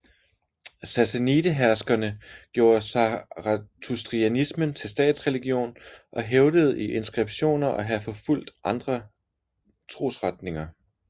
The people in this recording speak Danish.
Sassanideherskerne gjorde zarathustrianismen til statsreligion og hævdede i inskriptioner at have forfulgt andre trosretninger